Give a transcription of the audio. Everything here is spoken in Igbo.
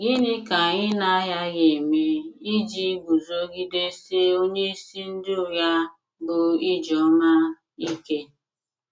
Gịnị ka anyị na - aghaghị ime iji guzogidesie onyeisi ndị ụgha, bụ́ ijeoma, ike?